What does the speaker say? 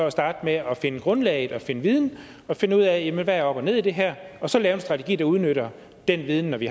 at starte med at finde grundlaget og finde viden og finde ud af hvad der er op og ned i det her og så lave en strategi der udnytter den viden når vi